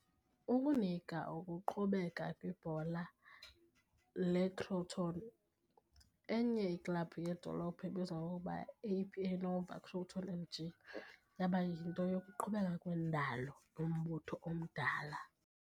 Ukunika ukuqhubeka kwibhola lebhola leCrotone, enye iklabhu yedolophu ebizwa ngokuba yi"-AP Nuova Crotone MJ" yaba yinto yokuqhubeka kwendalo yombutho omdala.